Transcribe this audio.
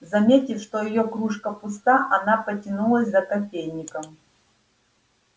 заметив что её кружка пуста она потянулась за кофейником